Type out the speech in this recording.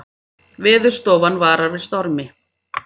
Veðurstofan varar við stormi